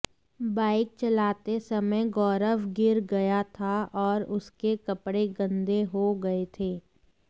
bike चलाते समय गौरव गिर गया था और उसके कपड़े गंदे हो गए थे